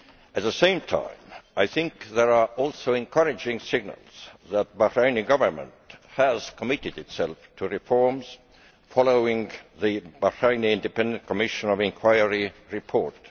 At the same time, there are also encouraging signals that the Bahraini Government has committed itself to reforms following the national Independent Commission of Inquiry report.